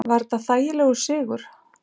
Var þetta þægilegur sigur?